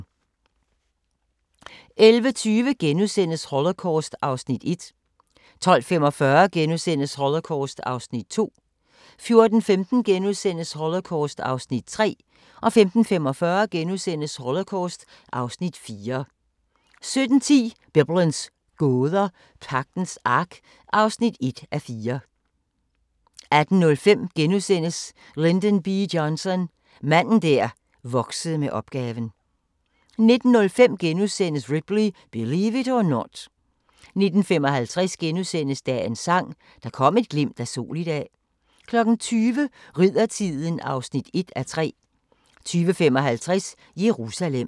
11:20: Holocaust (Afs. 1)* 12:45: Holocaust (Afs. 2)* 14:15: Holocaust (Afs. 3)* 15:45: Holocaust (Afs. 4)* 17:10: Biblens gåder – Pagtens Ark (1:4) 18:05: Lyndon B. Johnson – manden der voksede med opgaven * 19:05: Ripley – Believe it or Not * 19:55: Dagens Sang: Der kom et glimt af sol i dag * 20:00: Riddertiden (1:3) 20:55: Jerusalem